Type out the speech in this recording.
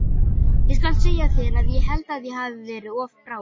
Ég skal segja þér að ég held að ég hafi verið of bráður.